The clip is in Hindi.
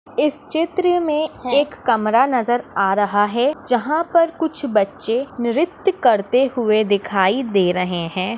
इस चित्र में एक कमरा नजर आ रहा है जहा पर कुछ बच्चे नृत्य करते हुए दिखाई दे रहे है।